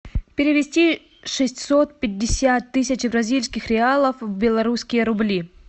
перевести шестьсот пятьдесят тысяч бразильских реалов в белорусские рубли